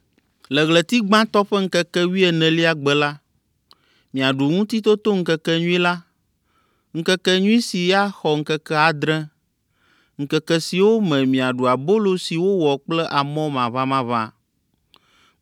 “ ‘Le ɣleti gbãtɔ ƒe ŋkeke wuienelia gbe la, miaɖu Ŋutitotoŋkekenyui la, ŋkekenyui si axɔ ŋkeke adre, ŋkeke siwo me miaɖu abolo si wowɔ kple amɔ maʋamaʋã.